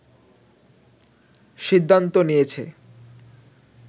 সিদ্ধান্ত নিয়েছে